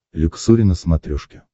люксори на смотрешке